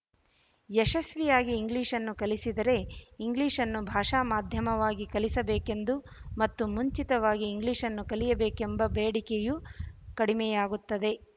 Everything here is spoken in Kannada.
ಯಶಸ್ವಿಯಾಗಿ ಇಂಗ್ಲಿಶ್‌ನ್ನು ಕಲಿಸಿದರೆ ಇಂಗ್ಲಿಶ್‌ನ್ನು ಭಾಷಾ ಮಾಧ್ಯಮವಾಗಿ ಕಲಿಸಬೇಕೆಂದು ಮತ್ತು ಮುಂಚಿತವಾಗಿ ಇಂಗ್ಲಿಶ್‌ನ್ನು ಕಲಿಯಬೇಕೆಂಬ ಬೇಡಿಕೆಯು ಕಡಿಮೆಯಾಗುತ್ತದೆ